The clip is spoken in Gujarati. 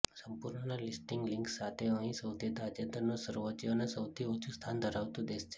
સંપૂર્ણ લિસ્ટિંગની લિંક્સ સાથે અહીં સૌથી તાજેતરનું સર્વોચ્ચ અને સૌથી ઓછું સ્થાન ધરાવતું દેશ છે